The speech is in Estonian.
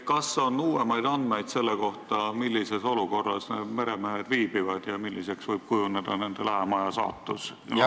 Kas on uuemaid andmeid selle kohta, millises olukorras need meremehed viibivad ja milliseks võib kujuneda nende saatus lähemal ajal?